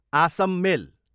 Assam मेल